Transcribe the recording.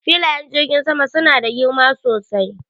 Filayen jirgin sama suna da girma sosai.